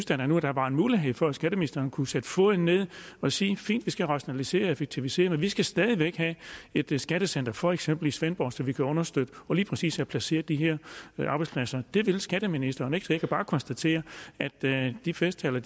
der nu var en mulighed for at skatteministeren kunne sætte foden ned og sige fint vi skal rationalisere og effektivisere men vi skal stadig væk have et et skattecenter for eksempel i svendborg så vi kan understøtte og lige præcis få placeret de her arbejdspladser det vil skatteministeren ikke så jeg kan bare konstatere at de festtaler